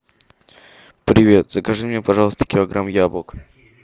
привет закажи мне пожалуйста килограмм яблок